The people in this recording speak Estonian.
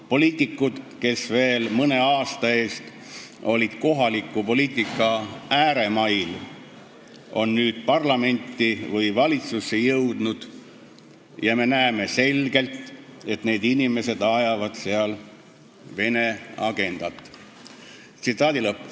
Poliitikud, kes veel mõne aasta eest olid kohaliku poliitika ääremail, on nüüd parlamenti või valitsusse jõudnud ja me näeme selgelt, et need inimesed ajavad seal Vene agendat.